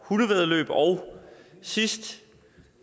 hundevæddeløb og sidst